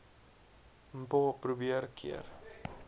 mpho probeer keer